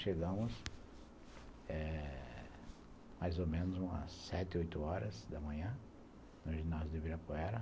Chegamos eh mais ou menos umas sete, oito horas da manhã no ginásio de Ibirapuera.